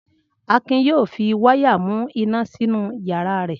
Akin yóò fi wáyà mú iná sínú ìyàrá rẹ̀.